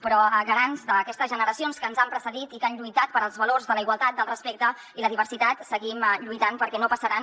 però garants d’aquestes generacions que ens han precedit i que han lluitat pels valors de la igualtat del respecte i la diversitat seguim lluitant perquè no passaran